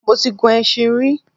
Mo ti gun ẹṣin rí